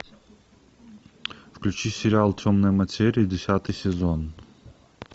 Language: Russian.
включи сериал темная материя десятый сезон